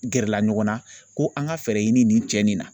Gɛrɛla ɲɔgɔnna ko an ka fɛɛrɛ ɲini nin cɛ nin na.